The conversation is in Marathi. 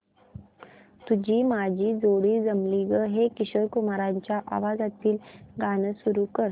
तुझी माझी जोडी जमली गं हे किशोर कुमारांच्या आवाजातील गाणं सुरू कर